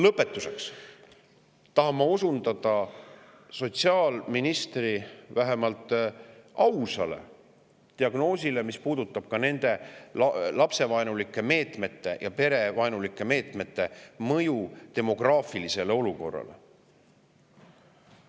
Lõpetuseks tahan ma osundada sotsiaalministri vähemalt ausale diagnoosile, mis puudutab nende lapse- ja perevaenulike meetmete mõju meie demograafilisele olukorrale.